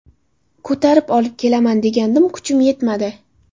Ko‘tarib olib kelaman degandim kuchim yetmadi.